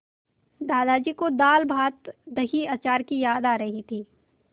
दादाजी को दालभातदहीअचार की याद आ रही थी